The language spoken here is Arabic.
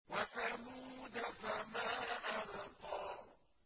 وَثَمُودَ فَمَا أَبْقَىٰ